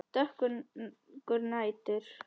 Dökkur nætur